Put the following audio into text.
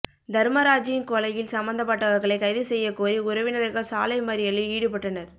தர்மராஜின் கொலையில் சம்மந்தபட்டவர்களை கைது செய்யக்கோரி உறவினர்கள் சாலை மறியலில் ஈடுபட்டனர்